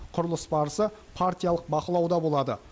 құрылыс барысы партиялық бақылауда болады